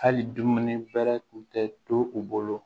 Hali dumuni bɛrɛ tun tɛ to u bolo